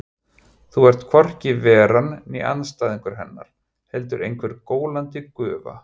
Þú ert hvorki Veran né andstæðingur Hennar, heldur einhver gólandi gufa.